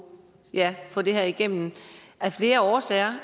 få det her igennem af flere årsager